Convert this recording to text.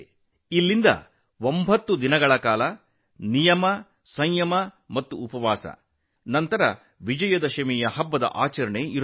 ಇಲ್ಲಿಂದ ಒಂಬತ್ತು ದಿನ ಸ್ವಯಂ ಶಿಸ್ತು ಸಂಯಮ ಉಪವಾಸವಿರುತ್ತದೆ ನಂತರ ವಿಜಯದಶಮಿ ಹಬ್ಬವೂ ಇರುತ್ತದೆ